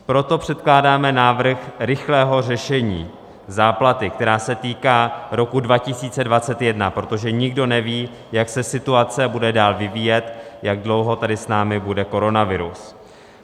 Proto předkládáme návrh rychlého řešení záplaty, která se týká roku 2021, protože nikdo neví, jak se situace bude dál vyvíjet, jak dlouho tady s námi bude koronavirus.